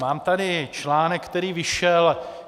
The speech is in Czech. Mám tady článek, který vyšel.